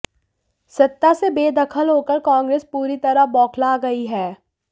सत्ता से बेदखल होकर कांग्रेस पूरी तरह बौखला गयी है